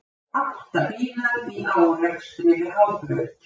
Átta bílar í árekstri við Hábraut